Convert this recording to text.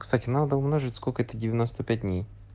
кстати надо умножить сколько это девяноста пять дней